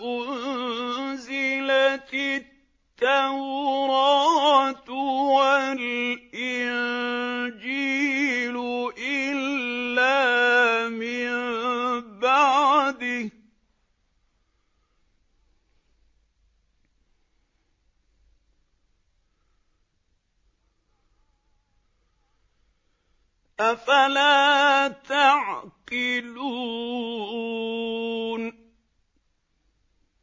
أُنزِلَتِ التَّوْرَاةُ وَالْإِنجِيلُ إِلَّا مِن بَعْدِهِ ۚ أَفَلَا تَعْقِلُونَ